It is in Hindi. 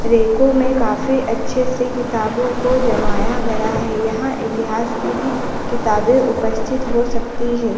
रेको में काफी अच्छे से किताबों को जमाया गया है यहां इतिहास की भी किताबें उपस्थित हो सकती है।